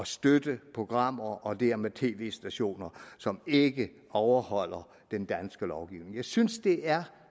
støtte programmer og dermed tv stationer som ikke overholder den danske lovgivning jeg synes det er